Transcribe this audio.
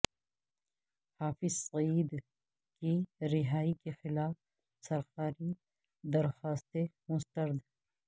حافظ سعید کی رہائی کے خلاف سرکاری درخواستیں مسترد